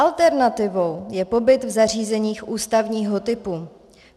Alternativou je pobyt v zařízeních ústavního typu.